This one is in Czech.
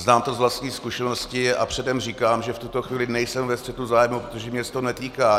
Znám to z vlastní zkušenosti a předem říkám, že v tuto chvíli nejsem ve střetu zájmů, protože mě se to netýká.